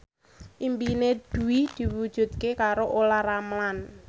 impine Dwi diwujudke karo Olla Ramlan